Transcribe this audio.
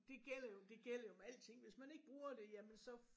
Det gælder jo det gælder jo om alting hvis man ikke bruger det jamen så